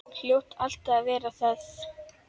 Hljóta alltaf að verða það.